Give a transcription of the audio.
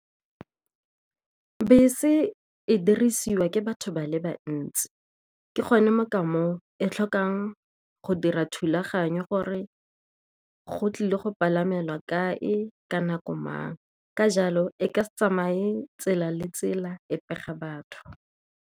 Bese e dirisiwa ke batho ba le bantsi, ke gone mo ka moo e tlhokang go dira thulaganyo gore go tlile go palamelwa kae, ka nako mang. Ka jalo, e ka se tsamaye tsela le tsela e pega batho.